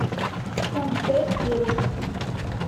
мт сервис